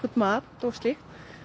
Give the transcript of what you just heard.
matur og slíkt